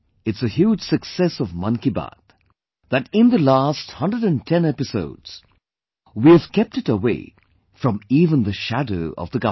It is a huge success of 'Mann Ki Baat' that in the last 110 episodes, we have kept it away from even the shadow of the government